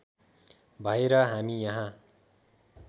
भएर हामी यहाँ